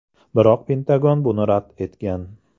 Biroq Pentagon buni rad etgan.